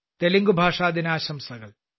തെലുങ്ക്ഭാഷാ ദിനാശംസകൾ